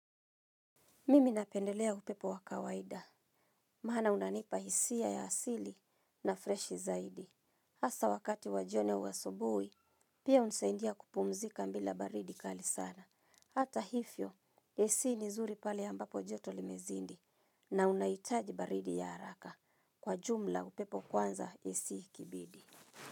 Mimi napendelea upepo wa kawaida, maana unanipa hisia ya asili na fresh zaidi. Hasa wakati wa jioni au asubuhi, pia unisaidia kupumzika bila baridi kali sana. Hata hivyo, AC ni zuri pale ambapo joto limezidi na unahitaji baridi ya haraka kwa jumla upepo kwanza AC ikibidi.